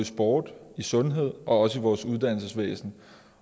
sport i sundhed og også i vores uddannelsesvæsen